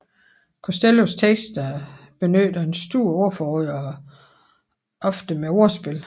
Costellos tekster benytter et stort ordforråd og ofte med ordspil